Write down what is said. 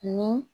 Ni